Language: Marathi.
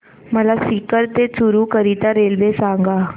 मला सीकर ते चुरु करीता रेल्वे सांगा